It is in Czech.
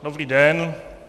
Dobrý den.